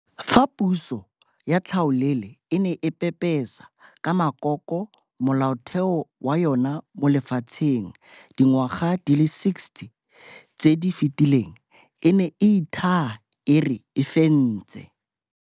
Fa puso ya tlhaolele e ne e pepesa ka makoko Molaotheo wa yona mo lefatsheng dingwaga di le 60 tse di fetileng, e ne e ithaa e re e fentse.